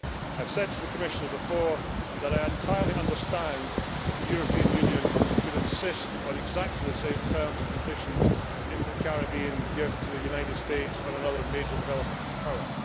I have said to the Commissioner before that I entirely understand that the European Union should insist on exactly the same terms and conditions that the Caribbean countries give to the United States or another major developed power.